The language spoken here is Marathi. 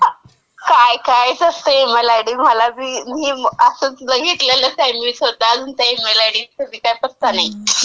ter काय कायच असतंय ईमेल आय डीमध्ये. मला बी. मी असं बघितलेलंच आहे, स्वतः असं काही ईमेल आयडी पत्ता नाही.